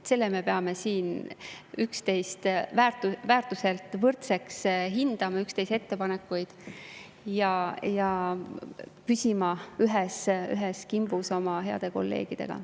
Me peame siin üksteise ettepanekuid väärtuselt võrdseks hindama ja püsima ühes kimbus oma heade kolleegidega.